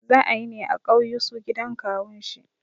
Za ayine a ƙauyusu gidan kawun shi